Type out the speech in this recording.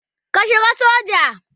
Ka shiga soja.